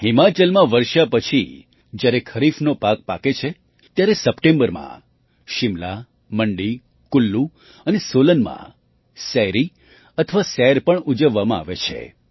હિમાચલમાં વર્ષા પછી જ્યારે ખરીફનો પાક પાકે છે ત્યારે સપ્ટેમ્બરમાં શિમલા મંડી કુલ્લૂ અને સોલનમાં સૈરી અથવા સૈર પણ ઉજવવામાં આવે છે